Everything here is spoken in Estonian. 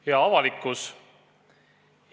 Hea avalikkus!